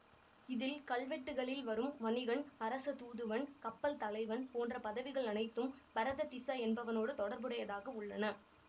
இதில் கல்வெட்டுக்களில் வரும் வணிகன் அரச தூதுவன் கப்பல் தலைவன் போன்ற பதவிகள் அனைத்தும் பரததிஸ என்பவனோடு தொடர்புடையதாக உள்ளன